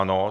Ano.